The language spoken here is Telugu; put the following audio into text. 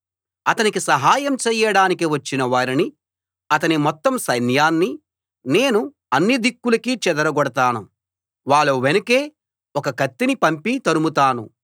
అతనికి సహాయం చేయడానికి వచ్చిన వారినీ అతని మొత్తం సైన్యాన్నీ నేను అన్ని దిక్కులకీ చెదరగొడతాను వాళ్ళ వెనుకే ఒక కత్తిని పంపి తరుముతాను